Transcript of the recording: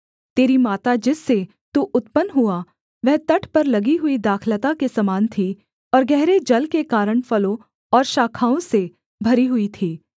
तेरी माता जिससे तू उत्पन्न हुआ वह तट पर लगी हुई दाखलता के समान थी और गहरे जल के कारण फलों और शाखाओं से भरी हुई थी